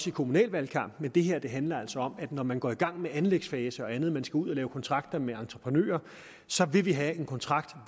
i kommunalvalgkampen men det her handler altså om at når man går i gang med anlægsfase og andet og ud at lave kontrakter med entreprenører så vil vi have en kontrakt